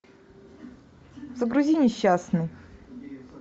загрузи несчастный